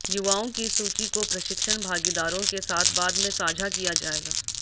युवाओं की इस सूची को प्रशिक्षण भागीदारों के साथ बाद में साझा किया जाएगा